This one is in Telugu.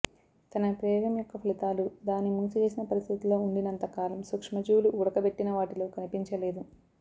తన ప్రయోగం యొక్క ఫలితాలు దాని మూసివేసిన పరిస్థితిలో ఉండినంతకాలం సూక్ష్మజీవులు ఉడకబెట్టిన వాటిలో కనిపించలేదు